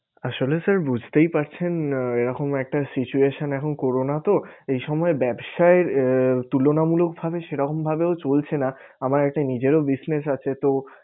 আসলে sir বুঝতেই পারছেন আহ এরকম একটা situation এখন করোনা তো এই সময়ে ব্যবসায়ের আঁ তুলনা মূলক ভাবে সেরকম ভাবেও চলছে না আমার একটা নিজেরও business আছে তো